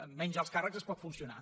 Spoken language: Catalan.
amb menys alts càrrecs es pot funcionar